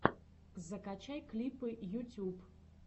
закачай клипы ютюб